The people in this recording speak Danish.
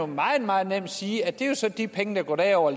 meget meget nemt sige at det så er de penge der går derover